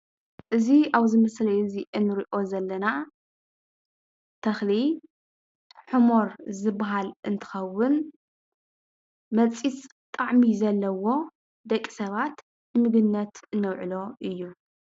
እዚ ኣብዚ ምስሊ እዚ እንሪኦ ዘለና ተክሊ ሕሞር ዝበሃል እንትከዉን መፂፅ ጣዕሚ ዘለዎ ደቂ ሰባት ምግብነት ነውዕሎ እዩ።